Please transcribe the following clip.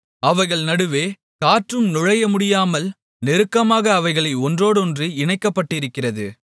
அவைகள் நடுவே காற்றும் நுழையமுடியாமல் நெருக்கமாக அவைகள் ஒன்றோடொன்று இணைக்கப்பட்டிருக்கிறது